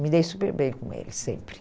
Me dei super bem com eles, sempre.